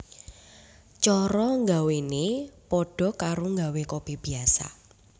Cara nggawénè padha karo nggawé kopi biasa